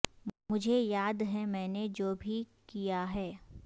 مجھے یاد ہے میں نے جو بھی کیا ہے